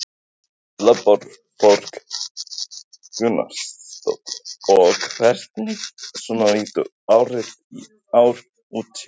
Erla Björg Gunnarsdóttir: Og hvernig svona lítur árið í ár út hjá ykkur?